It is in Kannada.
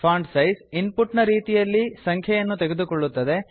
ಫಾಂಟ್ ಸೈಜ್ ಇನ್ ಪುಟ್ ನ ರೀತಿಯಲ್ಲಿ ಸಂಖ್ಯೆಯನ್ನು ತೆಗೆದುಕೊಳ್ಳುತ್ತದೆ